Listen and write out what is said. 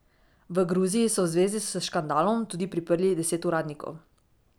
V Gruziji so v zvezi s škandalom tudi priprli deset uradnikov.